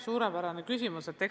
Suurepärane küsimus!